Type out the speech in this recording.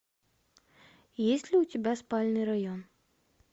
есть ли у тебя спальный район